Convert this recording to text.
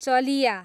चलिया